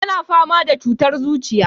Yana fama da cutar zuciya.